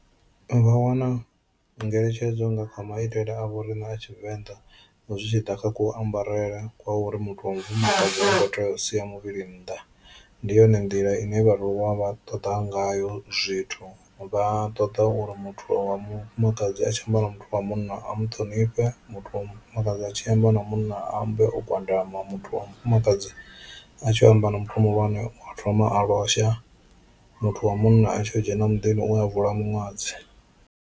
Vha wana ngeletshedzo nga kha maitele a vho riṋe a Tshivenḓa zwi tshi ḓa kha ku ambarele kwa uri muthu wa mufumakadzi ha kho tea u sia muvhili nnḓa, ndi yone nḓila ine vhaaluwa vha ṱoḓa ngayo zwithu vha ṱoḓa uri muthu wa mufumakadzi a tshi amba na muthu wa munna a mu ṱhonifhe, muthu wa mufumakadzi a tshi amba na munna a ambe o gwadama, muthu wa mufumakadzi a tshi amba na muthu muhulwane u thoma a losha, muthu wa munna a tshi kho dzhena muḓini u a bvula miṅwadzi.